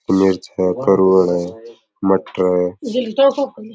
मिर्च करुड़ा है मटर है।